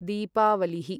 दीपावलिः